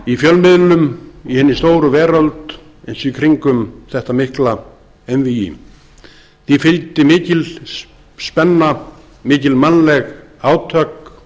í fjölmiðlum í hinni stóru veröld eins og í kringum þetta mikla einvígi því fylgdi mikil spenna mikil mannleg átök